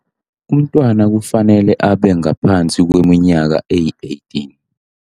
Umntwana kufanele abe ngaphansi kweminyaka eyi-18.